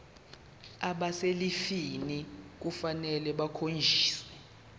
abaselivini kufanele bakhonjiswe